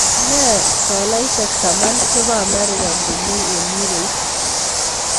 Nee tolaisiek taman che po Amerika komi eng' euroit